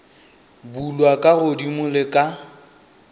bulwa ka godimo le ka